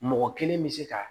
Mɔgɔ kelen bɛ se ka